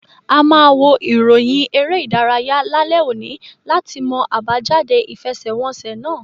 A ma wo iroyin ere idaraya lalẹ oni lati mọ abajade ifẹsẹwọnsẹ náà